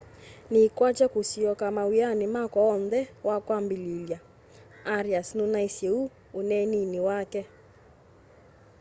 niikwatya kusyoka mawiani makwa oonthe wakwambililya arias nunaisye uu uneenini wake